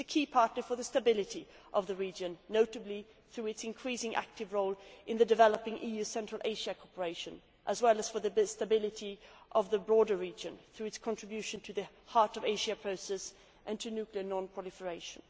It is a key partner for the stability of the region, notably through its increasingly active role in the developing EU Central Asia cooperation, as well as for the stability of the broader region through its contribution to the Heart of Asia process and to nuclear non proliferation.